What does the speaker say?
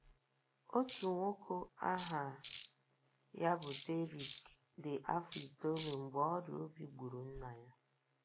Otu nwoke aha ya bụ Derrick dị afọ itoolu mgbe ọrịa obi gburu nna ya.